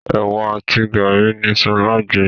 Ewa àti garri ni sọlá jẹ.